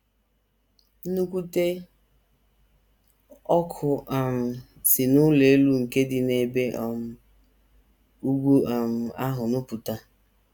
Nnukwute ọkụ um si n’ụlọ elu nke dị n’ebe um ugwu um ahụ nupụta.